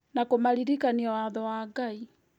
na kũmaririkania watho wa Ngai